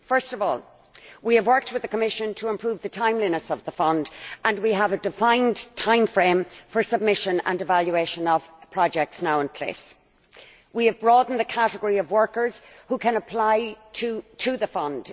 First of all, we have worked with the Commission to improve the timeliness of the fund and we have a defined timeframe for submission and evaluation of projects now in place. We have broadened the category of workers who can apply to the fund.